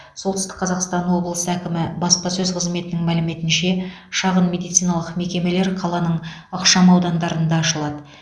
солтүстік қазақстан облысы әкімі баспасөз қызметінің мәліметінше шағын медициналық мекемелер қаланың ықшам аудандарында ашылады